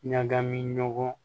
Ɲagami ɲɔgɔn